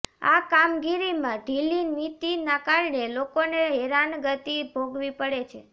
આ કામગીરીમા ઢીલીનીતિના કારણે લોકોને હેરાનગતિ ભોગવી પડે છે